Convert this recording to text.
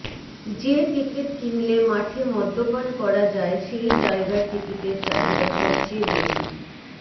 যে টিকট কিনলে মাঠে মদ্যপান করা যায় সেই জায়গার টিকিটের চাহিদা সবচেয়ে বেশি